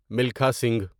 Milkha Singh